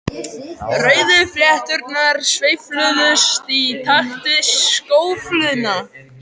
Rauðu flétturnar sveifluðust í takt við skófluna.